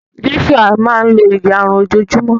Joshua máa n lo ìyárún ojo o júmọ́